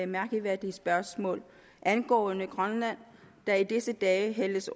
mærkværdige spørgsmål angående grønland der i disse dage hældes